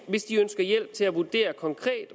hvis de ønsker hjælp til at vurdere